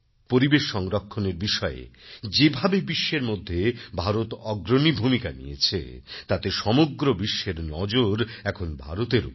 পরিবেশ সংরক্ষণের বিষয়ে যেভাবে বিশ্বের মধ্যে ভারত অগ্রণী ভূমিকা নিয়েছে তাতে সমগ্র বিশ্বের নজর এখন ভারতের ওপর